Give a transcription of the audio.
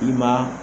I ma